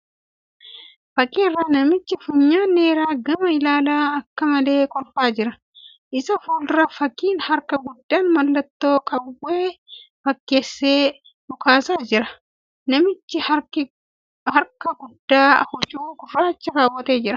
Fakkii irraa namichi funyaan dheeraa gama ilaalee akka malee kolfaa jira . Isa fuuldura fakkiin harkaa guddaan mallattoo qawwee fakkeessee dhukaasaa jira. Namtichi harka guddaa huccuu gurraacha keewwatee jira .